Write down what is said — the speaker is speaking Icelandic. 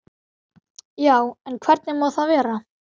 Já, en hvernig má það vera?